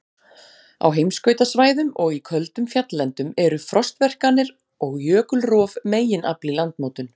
Á heimskautasvæðum og í köldum fjalllendum eru frostverkanir og jökulrof meginafl í landmótun.